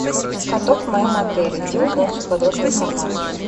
каток в моем отеле где узнать всю подробную информацию